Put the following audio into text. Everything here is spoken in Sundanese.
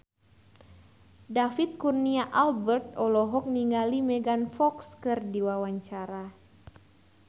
David Kurnia Albert olohok ningali Megan Fox keur diwawancara